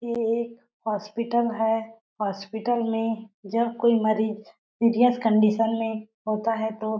ये एक हॉस्पिटल है। हॉस्पिटल में जब कोई मरीज सीरियस कंडीशन में होता है तो--